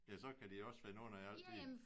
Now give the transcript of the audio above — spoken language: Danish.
Ja så kan de også finde ondt i alt de